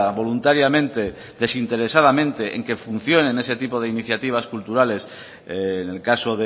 voluntariamente desinteresadamente en que funcionen ese tipo de iniciativas culturales en el caso